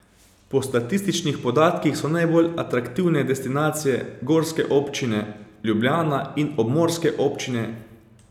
Po statističnih podatkih so najbolj atraktivne destinacije gorske občine, Ljubljana in obmorske občine.